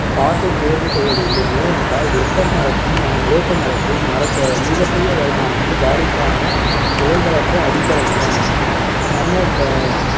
பார்த்துத் தேர்வு செய்யவேண்டும். ஏனென்றால் வெப்ப~ மரத்தின் வேப்ப மரத்தின் மிகப்பெரிய வருமானமே வாளிப்பான, இலைகளற்ற அடித்தளம்தான் மண்ண ஆஹ்